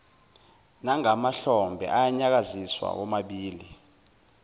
nangamahlombe anyakaza womabili